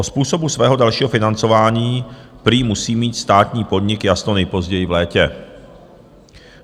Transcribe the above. O způsobu svého dalšího financování prý musí mít státní podnik jasno nejpozději v létě.